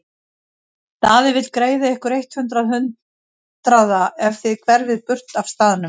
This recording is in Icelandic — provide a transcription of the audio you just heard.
Daði vill greiða ykkur eitt hundrað hundraða ef þið hverfið burt af staðnum.